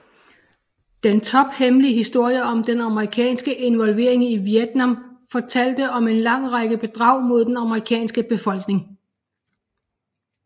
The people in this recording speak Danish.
Den tophemmelige historie om den amerikanske involvering i Vietnam fortalte om en lang række bedrag mod den amerikanske befolkning